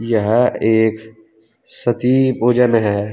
यह एक सती भोजन है।